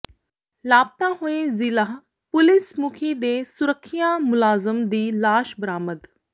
ਲਾਪਤਾ ਹੋਏ ਜ਼ਿਲ੍ਹਾ ਪੁਲਿਸ ਮੁਖੀ ਦੇ ਸੁਰੱਖਿਆ ਮੁਲਾਜ਼ਮ ਦੀ ਲਾਸ਼ ਬਰਾਮਦ